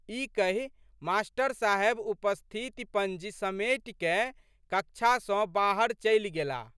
ई कहि मास्टर साहेब उपस्थिति पंजी समेटिकए कक्षा सँ बाहर चलि गेलाह।